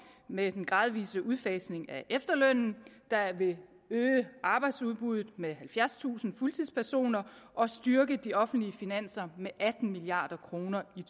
med den gradvise udfasning af efterlønnen der vil øge arbejdsudbuddet med halvfjerdstusind fuldtidspersoner og styrke de offentlige finanser med atten milliard kroner i